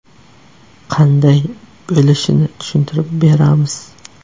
Qanday bo‘lishini tushuntirib beramiz.